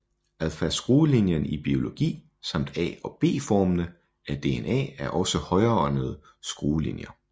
Alphaskruelinjen i biologi samt A og B formene af DNA er også højrehåndede skruelinjer